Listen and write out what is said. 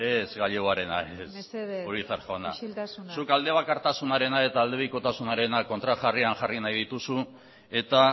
ez gallegoarena ez urizar jauna mesedez isiltasuna zuk aldebakartasunarena eta aldebikotasunarena kontrajarrian jarri nahi dituzu eta